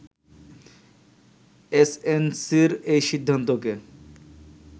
এসএনসি’র এই সিদ্ধান্তকে